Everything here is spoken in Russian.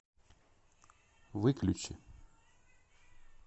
выключи